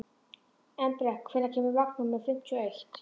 Embrek, hvenær kemur vagn númer fimmtíu og eitt?